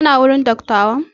Kana wajen dattawan?